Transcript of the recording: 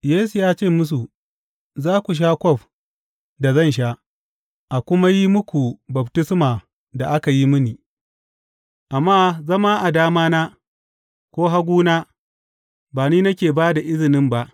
Yesu ya ce musu, Za ku sha kwaf da zan sha, a kuma yi muku baftisma da aka yi mini, amma zama a damana ko haguna, ba ni nake ba da izinin ba.